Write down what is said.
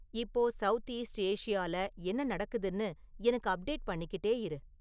இப்போ south east ஏஷியால என்ன நடக்குதுன்னு எனக்கு அப்டேட் பண்ணிக்கிட்டே இரு